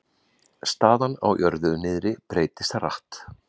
Staðan á jörðu niðri breytist hratt